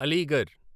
Aligarh